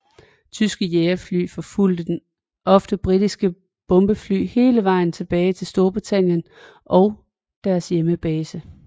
Tyske jagerfly forfulgte ofte britiske bombefly hele vejen tilbage til Storbritannien og deres hjembase